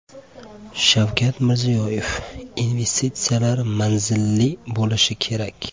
Shavkat Mirziyoyev: Investitsiyalar manzilli bo‘lishi kerak.